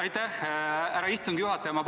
Aitäh, härra istungi juhataja!